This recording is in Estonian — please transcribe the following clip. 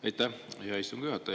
Aitäh, hea istungi juhataja!